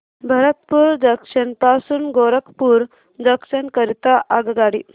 Bharatpur junction पासून Gorakhpur junction करीता आगगाडी